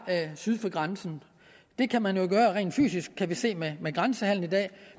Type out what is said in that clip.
syd for grænsen det kan man jo gøre rent fysisk kan vi se med grænsehandelen i dag